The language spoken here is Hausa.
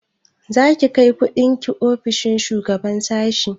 Za ki kai kundin ki ofishin shugaban sashi?